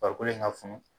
Farikolo in ka funu